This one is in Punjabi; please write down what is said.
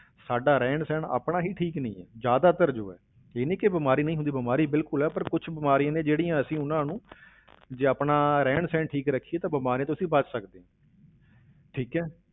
ਸਾਡਾ ਰਹਿਣ ਸਹਿਣ ਆਪਣਾ ਹੀ ਠੀਕ ਨੀ ਹੈ, ਜ਼ਿਆਦਾਤਰ ਜੋ ਹੈ, ਇਹ ਨਹੀਂ ਕਿ ਬਿਮਾਰੀ ਨਹੀਂ ਹੁੰਦੀ ਬਿਮਾਰੀ ਬਿਲਕੁਲ ਹੈ ਪਰ ਕੁਛ ਬਿਮਾਰੀਆਂ ਨੇ ਜਿਹੜੀਆਂ ਅਸੀਂ ਉਹਨਾਂ ਨੂੰ ਜੇ ਆਪਣਾ ਰਹਿਣ ਸਹਿਣ ਠੀਕ ਰੱਖੀਏ ਤਾਂ ਬਿਮਾਰੀਆਂ ਤੋਂ ਅਸੀਂ ਬਚ ਸਕਦੇ ਹਾਂ ਠੀਕ ਹੈ।